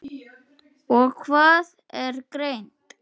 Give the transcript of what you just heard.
líka kemur til greina.